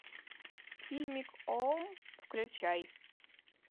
фильмик ом включай